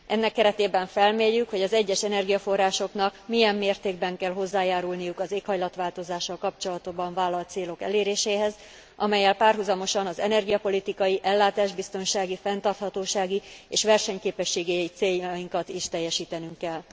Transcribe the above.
Ennek keretében felmérjük, hogy az egyes energiaforrásoknak milyen mértékben kell hozzájárulniuk az éghajlatváltozással kapcsolatban vállalt célok eléréséhez, amellyel párhuzamosan az energiapolitikai, ellátásbiztonsági, fenntarthatósági és versenyképességi céljainkat is teljesítenünk kell.